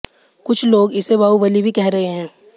कुछ लोग इसे बाहुबली भी कह रहे हैं